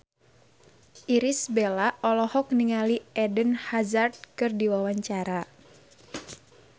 Irish Bella olohok ningali Eden Hazard keur diwawancara